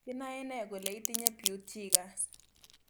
Kinae nee kole itinye Peutz Jeghers